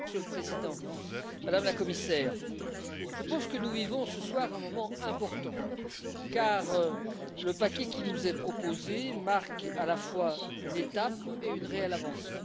Monsieur le Président, Madame la Commissaire, je pense que nous vivons ce soir un moment important car le paquet qui nous est proposé marque à la fois une étape et une réelle avancée.